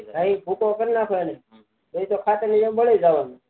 નહી ભૂકો કરી નાખો પછી તો ખાતર ની જેમ ભરી જવાનું